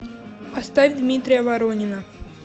поставь дмитрия воронина